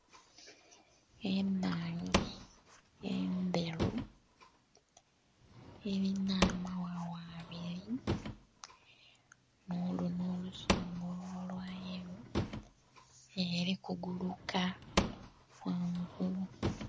Enhange endheru elina amaghagha abiri nh'olunhwa olusongovu olwa yelo, eli kuguluka ghangulu.